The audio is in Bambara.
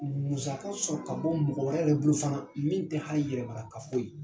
Musaka sɔrɔ ka bɔ mɔgɔ wɛrɛ yɛrɛ bolo fana min tɛ hali yɛrɛmarakafo ye.